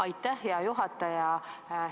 Aitäh, hea juhataja!